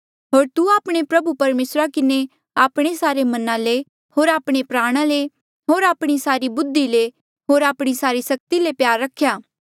होर तू आपणे प्रभु परमेसरा किन्हें आपणे सारे मना ले होर आपणे प्राणा ले होर आपणी सारी बुद्धि ले होर आपणी सारी सक्ति ले प्यार रख्या